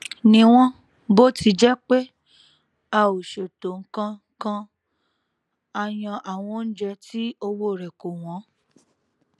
níwòn bó ti jé pé a ò ṣètò nǹkan kan a yan àwọn oúnjẹ tí owó rè kò wón